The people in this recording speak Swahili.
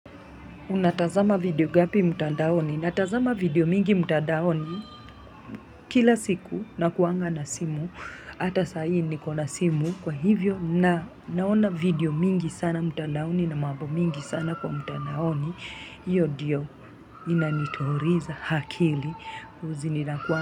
Unatazama video ngapi mtandaoni? Natazama video mingi mtandaoni kila siku nakuanga na simu. Hata saahi nikona simu kwa hivyo na naona video mingi sana mtandaoni na mambo mingi sana kwa mtandaoni. Iyo ndiyo inanituliza akili.